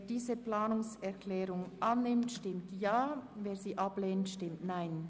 Wer diese Planungserklärung annimmt, stimmt Ja, wer diese ablehnt, stimmt Nein.